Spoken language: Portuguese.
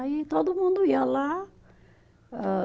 Aí todo mundo ia lá. Âh